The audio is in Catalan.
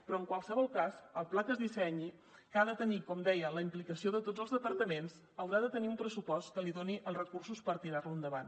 però en qualsevol cas el pla que es dissenyi que ha de tenir com deia la implicació de tots els departaments haurà de tenir un pressupost que li doni els recursos per tirar lo endavant